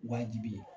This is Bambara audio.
Wajibi ye